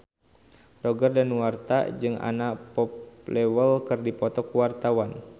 Roger Danuarta jeung Anna Popplewell keur dipoto ku wartawan